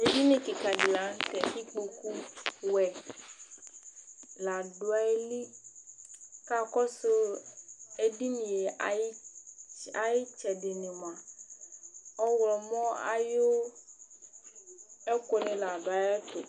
Edini kɩka dɩ la nʋ tɛ kikpoku wɛ nɩ la dʋ ayiliKa kɔsʋ edinie ayɩtsɛdɩ nɩ mʋa , ɔɣlɔmɔ ayʋ ɛkʋ nɩ la dʋ ayɛtʋ